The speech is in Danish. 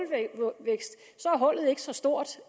hullet ikke så stort